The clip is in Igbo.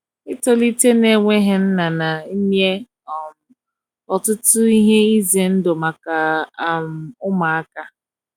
itọlite na enweghi nna na nye um ọtụtụ ihe ize ndụ maka um ụmụaka